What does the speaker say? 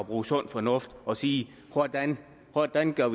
bruge sund fornuft og sige hvordan hvordan vi gør